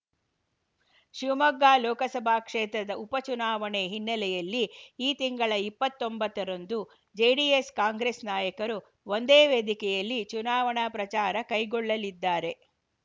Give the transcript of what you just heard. ಶಿವಮೊಗ್ಗ ಲೋಕಸಭಾ ಕ್ಷೇತ್ರದ ಉಪಚುನಾವಣೆ ಹಿನ್ನೆಲೆಯಲ್ಲಿ ಈ ತಿಂಗಳ ಇಪ್ಪತ್ತ್ ಒಂಬತ್ತ ರಂದು ಜೆಡಿಎಸ್‌ಕಾಂಗ್ರೆಸ್‌ ನಾಯಕರು ಒಂದೇ ವೇದಿಕೆಯಲ್ಲಿ ಚುನಾವಣಾ ಪ್ರಚಾರ ಕೈಗೊಳ್ಳಲಿದ್ದಾರೆ